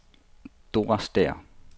Dora Stæhr